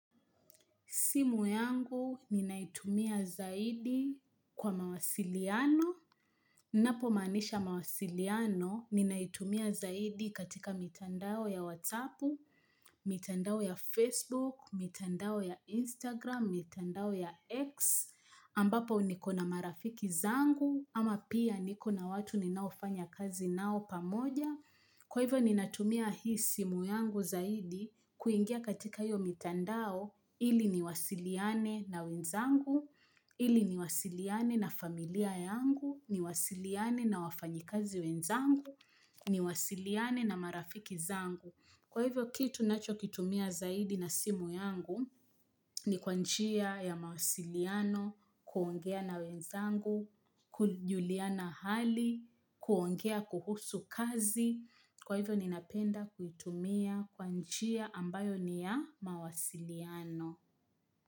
Simu yangu ninaitumia zaidi kwa mawasiliano. Napomanisha mawasiliano ninaitumia zaidi katika mitandao ya whatsapu, mitandao ya Facebook, mitandao ya Instagram, mitandao ya X, ambapo niko na marafiki zangu, ama pia niko na watu ninaofanya kazi nao pamoja. Kwa hivyo ni natumia hii simu yangu zaidi kuingia katika hiyo mitandao ili niwasiliane na wenzangu, ili niwasiliane na familia yangu, niwasiliane na wafanyikazi wenzangu, niwasiliane na marafiki zangu. Kwa hivyo kitu nachokitumia zaidi na simu yangu ni kwa njia ya mawasiliano kuongea na wenzangu, kujuliana hali, kuongea kuhusu kazi. Kwa hivyo ninapenda kuitumia kwa njia ambayo ni ya mawasiliano.